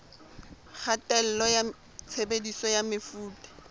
kgatello ya tshebediso ya mefuta